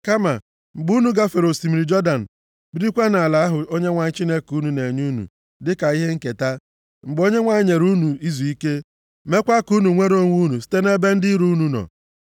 Kama, mgbe unu gafere osimiri Jọdan, birikwa nʼala ahụ Onyenwe anyị Chineke unu na-enye unu dịka ihe nketa, mgbe Onyenwe anyị nyere unu izuike, meekwa ka unu nwere onwe unu site nʼebe ndị iro unu nọ.